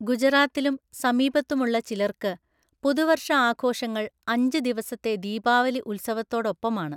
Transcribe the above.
ഗുജറാത്തിലും സമീപത്തുമുള്ള ചിലർക്ക്, പുതുവർഷ ആഘോഷങ്ങൾ അഞ്ച് ദിവസത്തെ ദീപാവലി ഉത്സവത്തോടൊപ്പമാണ്.